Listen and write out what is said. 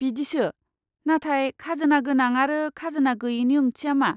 बिदिसो, नाथाय 'खाजोना गोनां' आरो 'खाजोना गोयैनि ओंथिया मा?